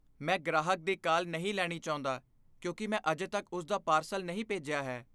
ਮੈਂ ਗ੍ਰਾਹਕ ਦੀ ਕਾਲ ਨਹੀਂ ਲੈਣੀ ਚਾਹੁੰਦਾ ਕਿਉਂਕਿ ਮੈਂ ਅਜੇ ਤੱਕ ਉਸ ਦਾ ਪਾਰਸਲ ਨਹੀਂ ਭੇਜਿਆ ਹੈ।